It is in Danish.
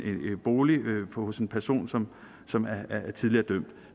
bolig hos en person som som er er tidligere dømt